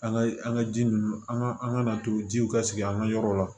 An ka an ka ji nunnu an ka an ka to jiw ka sigi an ga yɔrɔ la